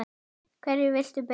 Hverju viltu byrja á?